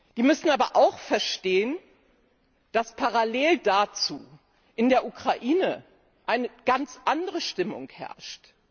Sie müssen aber auch verstehen, dass parallel dazu in der Ukraine eine ganz andere Stimmung herrscht.